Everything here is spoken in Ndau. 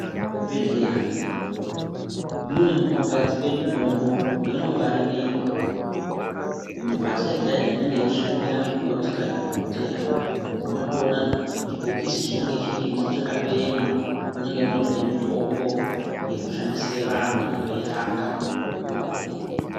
Muzvibhedhlera mune munogadzikwa mitombo mainongwarirwa Mumbatso yega yega inenge yeishandira mukoti kana dhokodheya unotoona chibhokisi chinenge chirimo makaema munenge mune mitombo yekushandisira vantu vanenge veirapwa mumbatsomo.